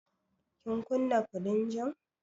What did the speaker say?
Kin kunna firinjin?